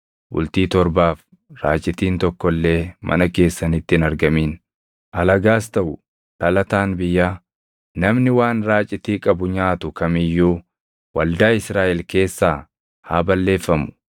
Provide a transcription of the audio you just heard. Bultii torbaaf raacitiin tokko illee mana keessanitti hin argamin; alagaas taʼu dhalataan biyyaa, namni waan raacitii qabu nyaatu kam iyyuu waldaa Israaʼel keessaa haa balleeffamu.